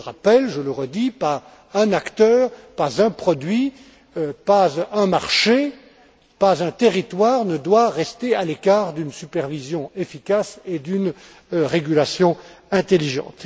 Je le rappelle, je le redis pas un acteur, pas un produit, pas un marché, pas un territoire ne doit rester à l'écart d'une supervision efficace et d'une régulation intelligente.